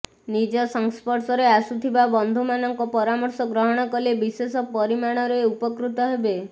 ନିଜ ସଂସ୍ଫର୍ଶରେ ଆସୁଥିବା ବନ୍ଧୁ ମାନଙ୍କ ପରାମର୍ଶ ଗ୍ରହଣ କଲେ ବିଶେଷ ପରିମାଣରେ ଉପକୃତ ହେବେ